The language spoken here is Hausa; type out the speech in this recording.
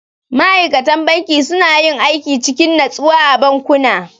Ma'aikatan banki suna yin aiki cikin natsuwa a bankuna.